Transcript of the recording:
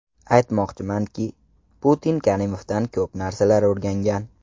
Aytmoqchimanki, Putin Karimovdan ko‘p narsalarni o‘rgangan.